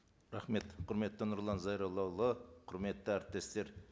рахмет құрметті нұрлан зайроллаұлы құрметті әріптестер